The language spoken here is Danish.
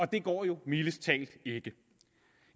det går jo mildest talt ikke